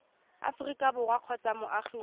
aforika borwa kgotsa moagi wa